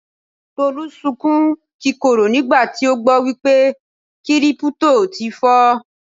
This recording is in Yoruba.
Tolú sunkún kíkorò nígbà tí ó gbọ́ wípé Kírípútò ti fọ́.